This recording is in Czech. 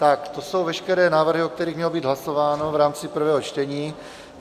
Tak to jsou veškeré návrhy, o kterých mělo být hlasováno v rámci prvého čtení.